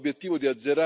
să ne adaptăm.